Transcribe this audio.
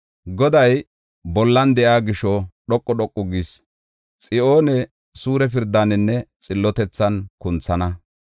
Goday bolla de7iya gisho, dhoqu dhoqu gis; Xiyoone suure pirdaaninne xillotethan kunthana.